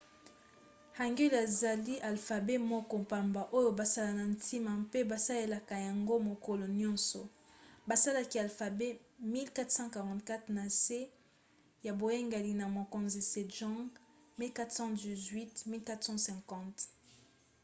hangeul ezali alfabe moko pamba oyo basala na ntina mpe basalelaka yango mokolo nyonso. basalaki alfabe na 1444 na nse ya boyangeli ya mokonzi sejong 1418 – 1450